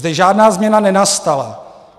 Zde žádná změna nenastala.